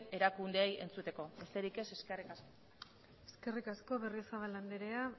erakundeei entzuteko besterik ez eskerrik asko eskerrik asko berriozabal andrea